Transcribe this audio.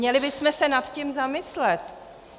Měli bychom se nad tím zamyslet.